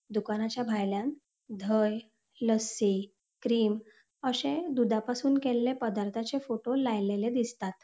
दुकानाच्या भायल्यान धय लस्सी क्रीम अशे दूधापासून केल्ले पदार्थाचे फोटो लाएलेले दिसतात.